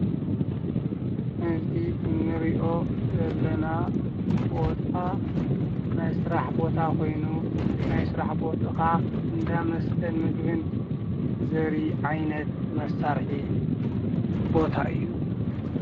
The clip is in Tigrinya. እዚ እንሪኦ ዘለና ቦታ ናይ ስራሕ ቦታ ኾይኑ ናይ ስራሕ ቦትኡ ከዓ እንዳ መስተን ምግብን ዘርኢ ዓይነት መሳርሒ ቦታ እዩ።